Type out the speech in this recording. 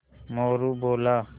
मोरू बोला